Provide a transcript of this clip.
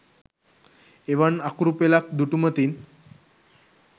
එවන් අකුරු පෙළක් දුටුමතින්